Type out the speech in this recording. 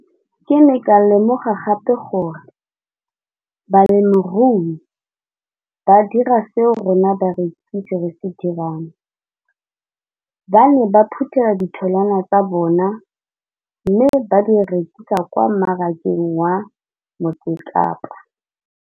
Ke ne ka lemoga gape gore balemirui ba dira seo rona barekisi re se dirang ba ne ba phuthela ditholwana tsa bona mme ba di rekisa kwa marakeng wa Motsekapa.